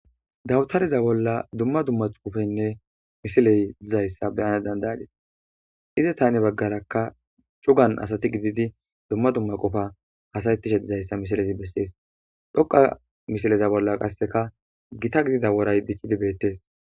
Dawuarareza bola dumma xuufeyinne misiley dizaysa beyana danda'adis, izeta hani bagaraka cugan asati gidid detes, gidid dumma dumma qopa hasa'ishe asati dizaysa ha misileza beses,dhoqan misileza bolla qaseka giita gidida woray dicid betes